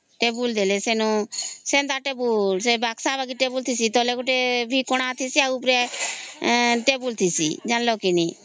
table ଦେଲେ ସେମାନ ସେ ବକ୍ସ ବଗି ଟେବୁଲ ତଳେ ଗୋଟେ ଭି କଣା ଠିଁସି ଆଉ ଔପରେ ଗୋଟେ ଟେବୁଲ ଠିଁସି ଜାଣିଲା କି ନାଇଁ